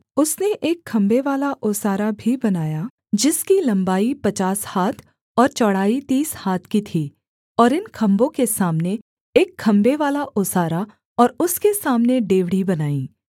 उसने एक खम्भेवाला ओसारा भी बनाया जिसकी लम्बाई पचास हाथ और चौड़ाई तीस हाथ की थी और इन खम्भों के सामने एक खम्भेवाला ओसारा और उसके सामने डेवढ़ी बनाई